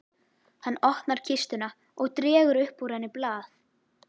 Hann opnar kistuna og dregur upp úr henni blað.